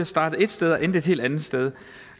startede et sted og endte et helt andet sted